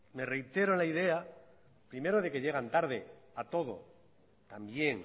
me reitero en la idea primero de que llegan tarde a todo también